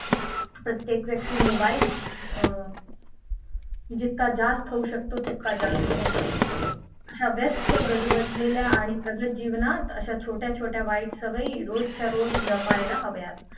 प्रत्येक व्यक्ती मोबाईल अं जितका जास्त होऊ शकतो तितका जास्त होतो अशा व्यस्त गजबजलेल्या आणि प्रगत जीवनात अशा छोट्या छोट्या वाईट सवयी रोजच्या रोज जपायला हव्यात